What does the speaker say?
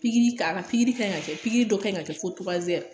Pikiri ka, a ka pikiri kan ɲi ka kɛ, pikiiri dɔ ɲi ka kɛ fo